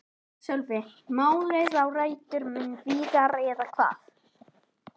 Sölvi: Málið á rætur mun víðar eða hvað?